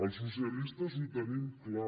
els socialistes ho tenim clar